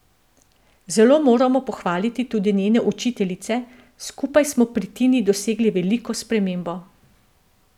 Zelo moramo pohvaliti tudi njene učiteljice, skupaj smo pri Tini dosegli veliko spremembo.